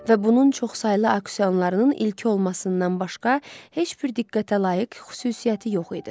Və bunun çoxsaylı auksionlarının ilki olmasından başqa heç bir diqqətə layiq xüsusiyyəti yox idi.